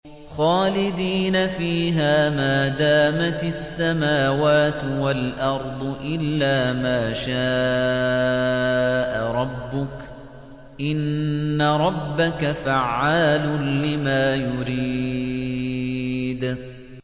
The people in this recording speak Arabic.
خَالِدِينَ فِيهَا مَا دَامَتِ السَّمَاوَاتُ وَالْأَرْضُ إِلَّا مَا شَاءَ رَبُّكَ ۚ إِنَّ رَبَّكَ فَعَّالٌ لِّمَا يُرِيدُ